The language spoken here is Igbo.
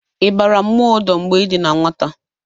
Ibara mmụọ odo mgbe i dị na nwata?